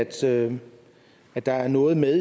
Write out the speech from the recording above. tale at der er noget med